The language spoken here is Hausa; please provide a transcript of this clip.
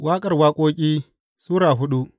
Waƙar Waƙoƙi Sura hudu